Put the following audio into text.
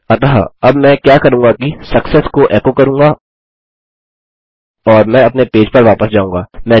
अतः अब मैं क्या करूँगा कि सक्सेस को एको करूँगा और मैं अपने पेज पर वापस जाऊँगा